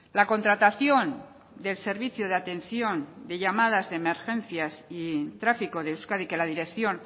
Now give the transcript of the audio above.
la contratación del servicio de atención de llamadas de emergencia y tráfico de euskadi que la dirección